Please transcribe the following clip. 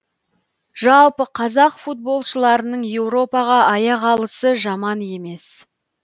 жалпы қазақ футболшыларың еуропаға аяқ алысы жаман емес